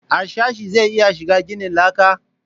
Harsashe zai iya shiga ginin laka?